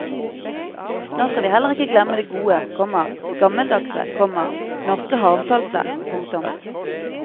Nå skal vi heller ikke glemme det gode, komma gammeldagse, komma norske havsaltet. punktum